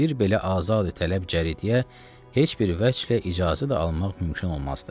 bir belə azad tələb cəridəyə heç bir vəchl icazə də almaq mümkün olmazdı.